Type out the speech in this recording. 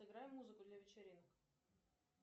играй музыку для вечеринок